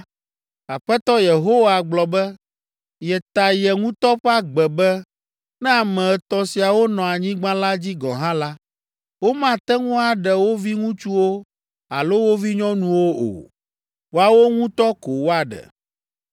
Aƒetɔ Yehowa gblɔ be, yeta ye ŋutɔ ƒe agbe be, ne ame etɔ̃ siawo nɔ anyigba la dzi gɔ̃ hã la, womate ŋu aɖe wo viŋutsuwo alo wo vinyɔnuwo o. Woawo ŋutɔ ko woaɖe.